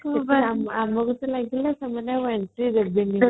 ଆମକୁ ଟା ଲାଗିଲା ସେମାନେ ଆଉ entry ଦେବେଣୀ ବୋଲି |